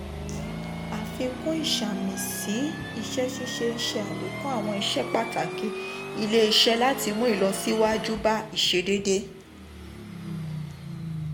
àfikún ìṣàmìsí um iṣẹ́ ṣíṣe ń ṣe àlékún àwọn iṣẹ́ pàtàkì ilé-iṣẹ́ láti mú ìlọsíwájú bá um ìṣedédé.